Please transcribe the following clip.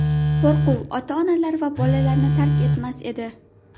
Qo‘rquv ota-onalar va bolalarni tark etmas edi.